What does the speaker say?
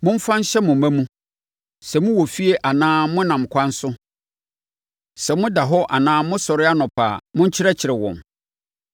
Momfa nhyɛ mo mma mu. Sɛ mowɔ fie anaa monam ɛkwan so, sɛ moda hɔ anaa mosɔre anɔpa a, monkyerɛkyerɛ wɔn.